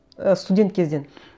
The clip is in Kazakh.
і студент кезден